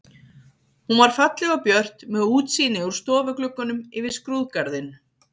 Hún var falleg og björt með útsýni úr stofugluggunum yfir skrúðgarðinn.